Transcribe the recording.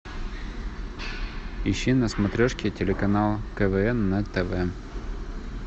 ищи на смотрешке телеканал квн на тв